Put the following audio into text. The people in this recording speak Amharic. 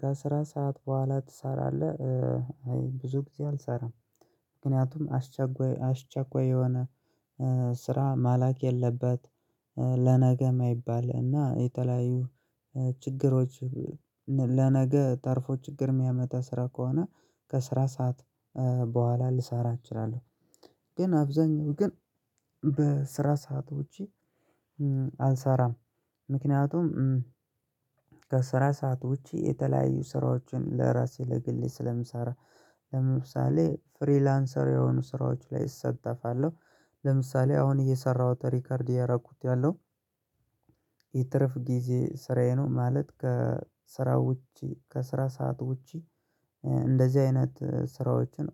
ከስራ ሰዓት በኋላ ትሰራለህ? አይ ብዙ ጊዜ አልሰራም። ምክንያቱም አስቸጓይ አስቸኳይ የሆነ ስ ስራ ማለቅ የለበት ለነገ የማይባል እና የተለያዩ ችግሮች። ለነገ ተርፎ ችግር የሚያመጣ ስራ ከሆነ ከስራ ሰዓት በኋላ ልሰራ እችላለሁ። ግን አብዛኛው ግን በስራ ሰዓት ውጪ አልሰራም። ምክንያቱም ከስራ ሰዓት ውጪ የተለያዩ ስራዎችን ለራሴ ለግሌ ስለምሰራ ለምሳሌ ፍሪላንሰር የሆኑ ስራዎች ላይ እሳተፋለሁ። ለምሳሌ አሁን እየሰራሁት ሪከርድ ያረኩት ያለው የትርፍ ጊዜ ስራዬ ነው። ማለት ከስራ ውጪ ከስራ ሰዓት ውጪ። እንደዚህ አይነት ስራዎችን